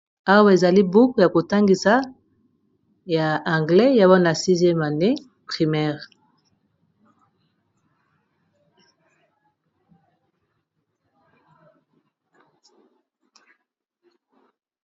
Awa ezali buku ya kotangisa ya anglais ya Bana 6eme primaire.